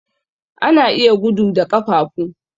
Ana iya gudu da ƙafafu.